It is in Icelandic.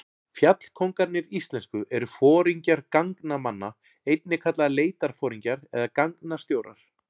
Fjallkóngarnir íslensku eru foringjar gangnamanna, einnig kallaðir leitarforingjar eða gangnastjórar.